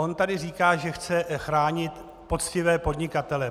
On tu říká, že chce chránit poctivé podnikatele.